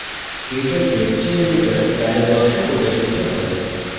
ktouch lecture editor dialog box প্রদর্শিত হয়